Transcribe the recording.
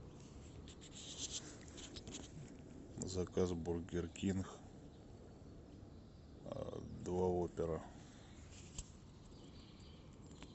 заказ бургер кинг два опера